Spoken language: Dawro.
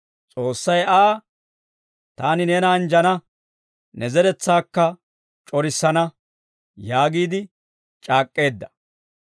S'oossay Aa, «Taani neena anjjana; ne zeretsaakka c'orissana» yaagiide c'aak'k'eedda.